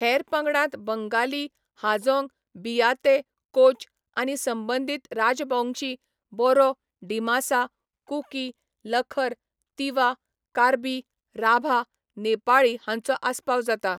हेर पंगडांत बंगाली, हाजोंग, बियाते, कोच, आनी संबंदीत राजबोंगशी, बोरो, डिमासा, कुकी, लखर, तिवा, कार्बी, राभा, नेपाळी हांचो आस्पाव जाता.